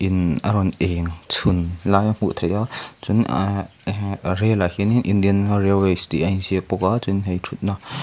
imm a rawn eng chhun lai hi a hmuh theih a chuan ah eh rel ah hianin indian railways tih a inziak bawk a chuanin hei thutna--